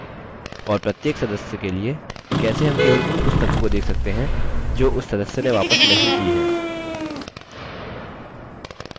और प्रत्येक सदस्य के लिए कैसे हम केवल उन पुस्तकों को देख सकते हैं जो उस सदस्य ने वापस नहीं की हैं